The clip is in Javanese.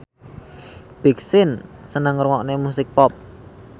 Big Sean seneng ngrungokne musik pop